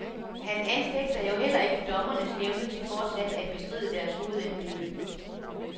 Han anfægter jo heller ikke dommernes evne til fortsat at bestride deres hovedembede.